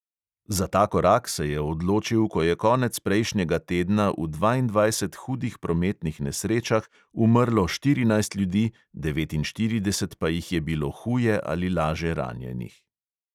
Za ta korak se je odločil, ko je konec prejšnjega tedna v dvaindvajsetih hudih prometnih nesrečah umrlo štirinajst ljudi, devetinštirideset pa jih je bilo huje ali laže ranjenih.